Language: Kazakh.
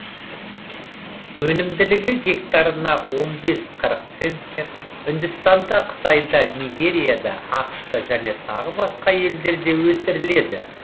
өнімділігі гектарына он бес қырық центнер үндістанда қытайда нигерияда ақш та және тағы басқа елдерде өсіріледі